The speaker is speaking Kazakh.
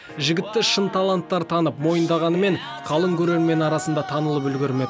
жігітті шын таланттар танып мойындағанымен қалың көрермен арасында танылып үлгермеді